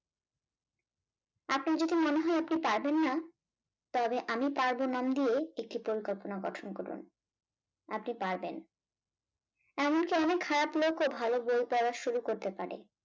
আপনার যদি মনে হয় আপনি পারবেন না তবে আমি পারব নাম দিয়ে একটি পরিকল্পনা গঠন করুন আপনি পারবেন। এমন কি অনেক খারাপ লোকও ভালো বই পড়া শুরু করতে পারে